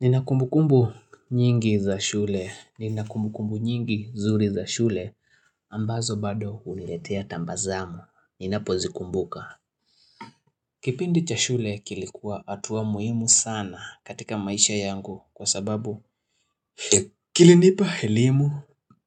Nina kumbukumbu nyingi za shule. Nina kumbukumbu nyingi zuri za shule ambazo bado huniletea tambazamu. Ninapo zikumbuka. Kipindi cha shule kilikuwa atuwa muhimu sana katika maisha yangu kwa sababu kilinipa helimu,